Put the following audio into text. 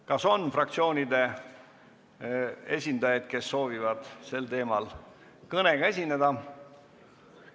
Kas on fraktsioonide esindajaid, kes soovivad sel teemal kõnega esineda?